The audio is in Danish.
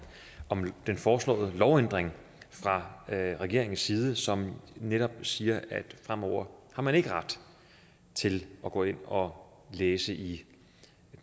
om den foreslåede lovændring fra regeringens side som netop siger at fremover har man ikke ret til at gå ind og læse i